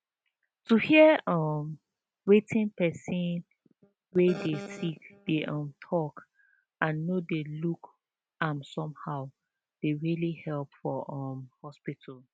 to hear um wetin person wey dey sick dey um talk and no dey look am somehow dey really help for um hospital